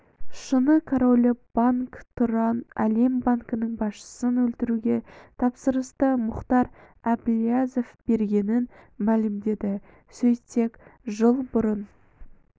шыны королі банк тұран әлем банкінің басшысын өлтіруге тапсырысты мұхтар әблязов бергенін мәлімдеді сөйтсек жыл бұрын